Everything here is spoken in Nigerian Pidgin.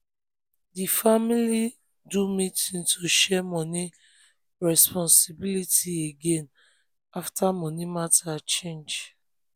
di family do meeting to share money responsibilities again after money matter change.